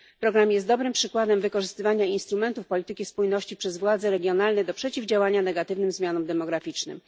Program jest dobrym przykładem wykorzystywania instrumentów polityki spójności przez władze regionalne do przeciwdziałania negatywnym zmianom demograficznym.